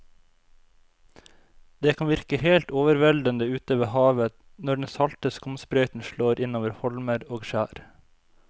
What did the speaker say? Det kan virke helt overveldende ute ved havet når den salte skumsprøyten slår innover holmer og skjær.